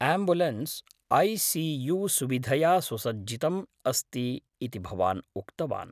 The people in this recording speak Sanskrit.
Ambulance AC. यु.सुविधया सुसज्जितम् अस्ति इति भवान् उक्तवान्।